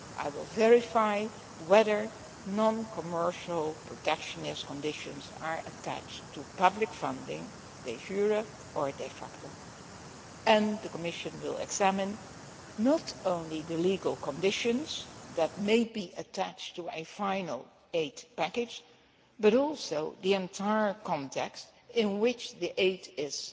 I will verify whether non commercial protectionist conditions are attached to public funding, de jure or de facto and the Commission will examine not only the legal conditions that may be attached to a final aid package, but also the entire context in which the aid is